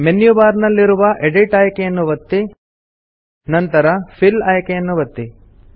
menu bar ನಲ್ಲಿರುವ edit ಆಯ್ಕೆಯನ್ನು ಒತ್ತಿ ನಂತರ ಫಿಲ್ ಆಯ್ಕೆಯನ್ನು ಒತ್ತಿರಿ